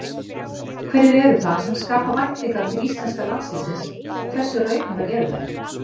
Hverjir eru það sem skapa væntingar til íslenska landsliðsins og hversu raunhæfar eru þær?